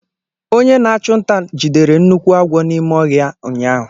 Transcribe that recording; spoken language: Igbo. Onye na-achụ nta jidere nnukwu agwọ n’ime ọhịa ụnyaahụ.